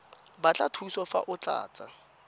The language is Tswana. batla thuso fa o tlatsa